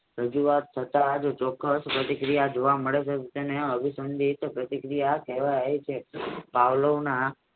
રજુવાત થતા જ ચોક્કસ પ્રતિક્રિયા જોવા મળે છે તેને અભિસંદિત પ્રતિ ક્રિયા કહેવાય છે આવલોવના